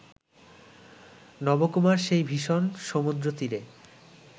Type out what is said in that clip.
নবকুমার সেই ভীষণ সমুদ্রতীরে